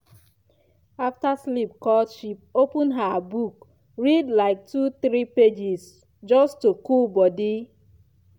after sleep cut short she open her book read like two three pages just to cool body.